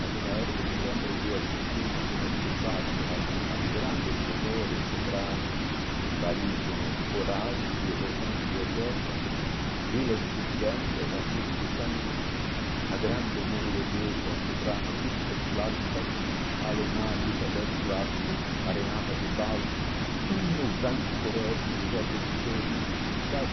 Naquela época, eu me lembro que eu assisti no semétrico Wagner, a aos grandes tenores, sopranos, barítonos, corais, e regentes de orquestra como Willem-Furt-Bengler, Arturo Tocannini, a grande norueguesa soprano, Kirsten Flagstall, a alemã, Elisabeth Schwarzkopf, Arenata de Baldi, Franco Corelli, José Pedro de Stefano, sabe?